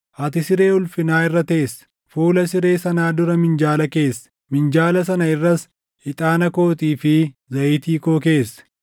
Ati siree ulfinaa irra teesse; fuula siree sanaa dura minjaala keesse; minjaala sana irras ixaana kootii fi zayitii koo keesse.